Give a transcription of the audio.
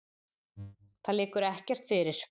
Það liggur ekkert fyrir.